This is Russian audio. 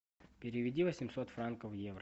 переведи восемьсот франков в евро